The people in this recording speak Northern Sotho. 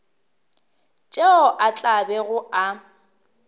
tšeo a tla bego a